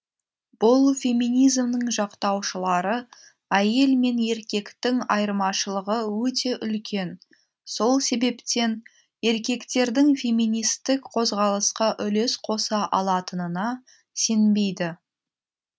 бұл феминизмнің жақтаушылары әйел мен еркектің айырмашылығы өте үлкен сол себептен еркектердің феминистік қозғалысқа үлес қоса алатынына сенбейді